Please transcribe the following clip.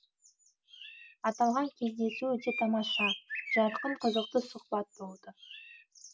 аталған кездесу өте тамаша жарқын қызықты сұхбат болды